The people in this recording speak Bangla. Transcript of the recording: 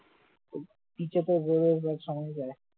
ওই beach এতো সঙ্গে যায়